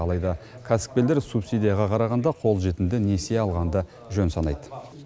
алайда кәсіпкерлер субсидияға қарағанда қолжетімді несие алғанды жөн санайды